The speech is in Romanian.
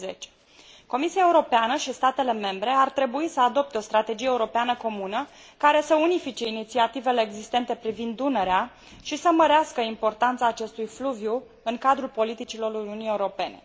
2010. Comisia Europeană și statele membre ar trebui să adopte o strategie europeană comună, care să unifice inițiativele existente privind Dunărea și să mărească importanța acestui fluviu în cadrul politicilor Uniunii Europene.